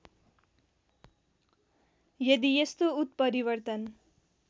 यदि यस्तो उत्परिवर्तन